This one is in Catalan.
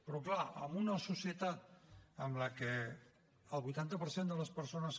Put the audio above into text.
però clar en una societat en la que el vuitanta per cent de les persones